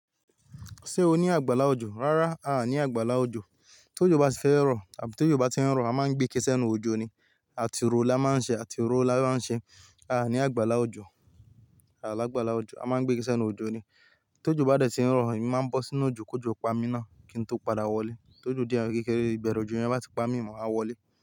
Ṣé o ní àgbàlá òjò? Rárá, a ní àgbàlá òjò. Tí òjò bá ti fẹ́ rọ̀ àbí tí òjò bá ti ń rọ̀, a máa ń gbé iké sẹ́nu òjò ni. Àti orò la máa ń ṣe, àti orò la máa ń ṣe. A à ní àgbàlá òjò, a lágbàlá òjò, a máa ń gbé ké sẹ́nu òjò ni. Tí òjò bá dẹ̀ ti ń rọ, èmi máa ń bọ́ sínú òjò kí òjò pa mí náà kí n tó padà wọlé. Tí òjò díẹ̀ kékeré, ìbẹ̀rẹ̀ òjò yẹ́n bá ti pa mí, máa wá wọlé.